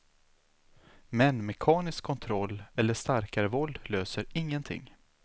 Men mekanisk kontroll eller starkare våld löser ingenting.